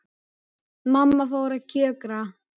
Mamma fór að kjökra.